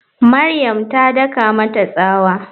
Mariam ta daka mata tsawa.